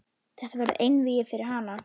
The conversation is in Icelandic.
Þetta verður einvígi fyrir hana.